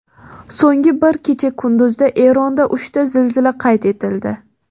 So‘nggi bir kecha-kunduzda Eronda uchta zilzila qayd etildi.